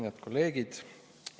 Head kolleegid!